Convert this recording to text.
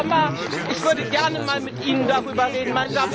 Frau Sommer, ich würde gerne einmal mit Ihnen darüber reden.